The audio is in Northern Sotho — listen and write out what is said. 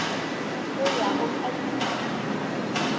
go ya go ka ditikologo